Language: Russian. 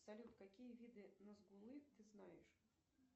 салют какие виды назгулы ты знаешь